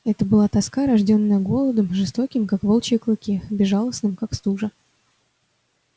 это была тоска рождённая голодом жестоким как волчьи клыки безжалостным как стужа